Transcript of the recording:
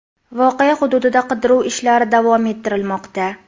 Voqea hududida qidiruv ishlari davom ettirilmoqda.